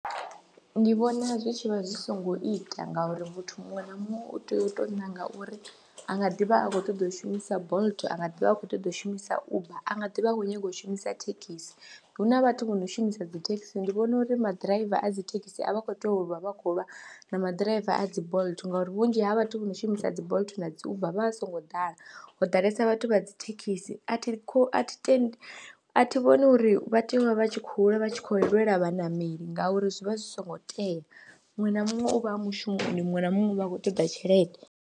Ndi vhona zwi tshi vha zwi songo ita ngauri muthu muṅwe na muṅwe u tea u tou ṋanga uri a nga ḓivha a khou ṱoḓa u shumisa Bolt a nga ḓi vha a khou ṱoḓa u shumisa Uber a nga ḓivha i khou nyaga u shumisa thekhisi, hu na vhathu vho no shumisa dzi thekhisi ndi vhona uri maḓiraiva a dzi thekisi a vha khou tea u vha vha khou lwa na maḓiraiva a dzi Bolt ngori vhunzhi ha vhathu vho no shumisa dzi Bolt na dzi Uber vha songo ḓala, ho ḓalesa vhathu vha dzi thekhisi a thi a thi tendi, a thi vhoni uri vha tea u vha vha tshi khou ḽa vha tshi khou lwela vhaṋameli ngauri zwi vha zwi songo tea muṅwe na muṅwe u vha a mushumo muṅwe na muṅwe u vha a khou ṱoḓa tshelede.